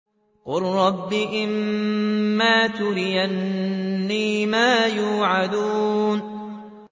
قُل رَّبِّ إِمَّا تُرِيَنِّي مَا يُوعَدُونَ